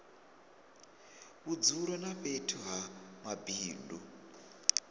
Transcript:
vhudzulo na fhethu ha mabindu